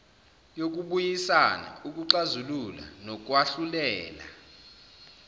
yokubuyisana ukuxazulula nokwahlulela